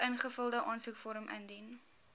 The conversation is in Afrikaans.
ingevulde aansoekvorm indien